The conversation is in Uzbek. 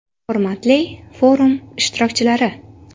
Hurmatli forum ishtirokchilari!